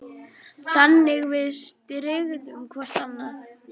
Þannig við styðjum hvorn annan.